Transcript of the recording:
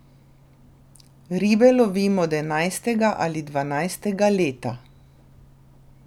Ribe lovim od enajstega ali dvanajstega leta.